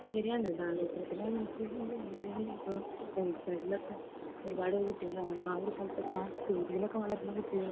ശരിയാണ് ദാരിദ്ര്യത്തിന്റെ, അല്ലെങ്കിൽ റോഡ് സൈഡിലൊക്കെ ഒരു പാഡ് കുട്ടികൾ ആ ഒരു സ്ഥലത്ത് അങ്ങനെ ചേരിയിലൊക്കെ വളരുന്ന കുട്ടികൾ